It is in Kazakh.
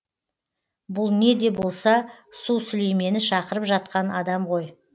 бұл не де болса су сүлеймені шақырып жатқан адам ғой